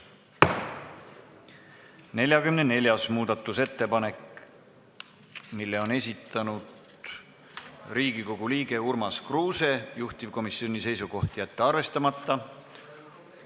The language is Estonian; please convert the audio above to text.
44. muudatusettepaneku on esitanud Riigikogu liige Urmas Kruuse, juhtivkomisjoni seisukoht: jätta see arvestamata.